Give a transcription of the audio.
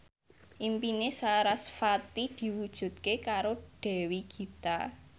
impine sarasvati diwujudke karo Dewi Gita